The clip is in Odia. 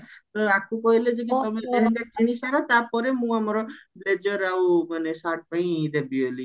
ତ ୟାକୁ କହିଲେ ଯେ କି ତମେ ଆଗେ କିଣି ସାରା ତାପରେ ମୁଁ ଆମର ବ୍ଲେଜର ଆଉ ସାର୍ଟ ପାଇଁ ଦେବୀ ବୋଲି